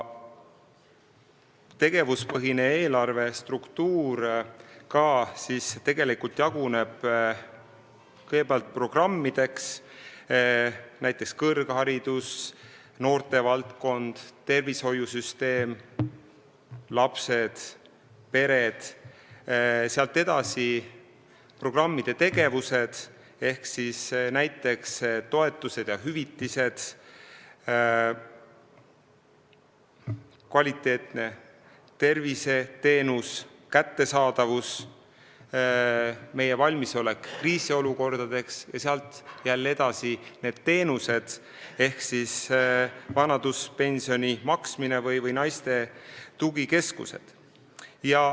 Tegevuspõhine eelarve struktuur jaguneb kõigepealt programmideks , sealt edasi on programmide tegevused ja edasi on teenused .